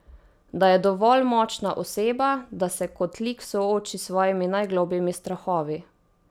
Da je dovolj močna oseba, da se kot lik sooči s svojimi najglobljimi strahovi.